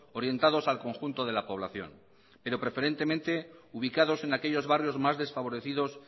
orientados al conjunto de la población pero preferentemente ubicados en aquellos barrios más desfavorecidos